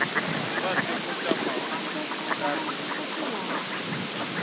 rate go tšama ke re